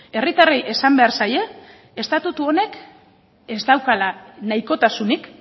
herritarrei esan behar zaie estatutu honek ez daukala nahikotasunik